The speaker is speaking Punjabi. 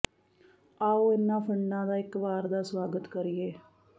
ਆਉ ਇਹਨਾਂ ਫ਼ੰਡਾਂ ਦਾ ਇਕ ਵਾਰ ਦਾ ਸੁਆਗਤ ਕਰੀਏ